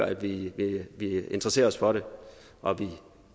at vi interesserer os for det og at vi